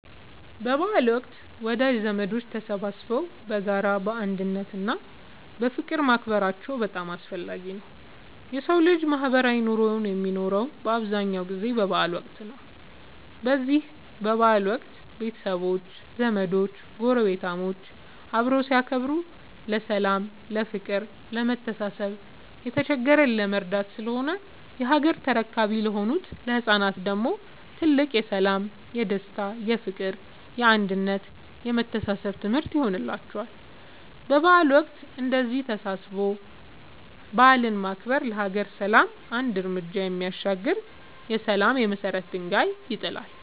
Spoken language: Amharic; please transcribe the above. በበዓል ወቅት ወዳጅ ዘመዶች ተሰባስበው በጋራ፣ በአንድነት እና በፍቅር ማክበራቸው በጣም አስፈላጊ ነው የሠው ልጅ ማህበራዊ ኑሮ የሚኖረው በአብዛኛው ጊዜ በበዓል ወቅት ነው። በዚህ በበዓል ወቅት ቤተሰቦች፣ ዘመዶች ጐረቤታሞች አብረው ሲያከብሩ ለሠላም፤ ለፍቅር፣ ለመተሳሰብ፣ የተቸገረን ለመርዳት ስለሆነ የሀገር ተረካቢ ለሆኑት ለህፃናት ደግሞ ትልቅ የሠላም፣ የደስታ፣ የፍቅር፣ የአንድነት የመተሳሰብ ትምህርት ይሆንላቸዋል። በበዓል ወቅት እንደዚህ ተሰባስቦ በዓልን ማክበር ለሀገር ሰላም አንድ ርምጃ የሚያሻግር የሠላም የመሰረት ድንጋይ ይጥላል።